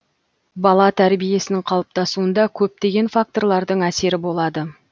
бала тәрбиесінің қалыптасуында көптеген факторлардың әсері болады